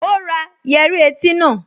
Ó ra yẹ́rí etí náà